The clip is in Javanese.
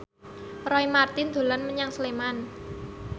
Roy Marten dolan menyang Sleman